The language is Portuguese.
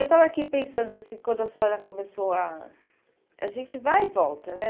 Eu estava aqui pensando assim quando a senhora começou a... A gente vai e volta, né?